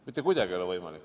Mitte kuidagi ei ole võimalik.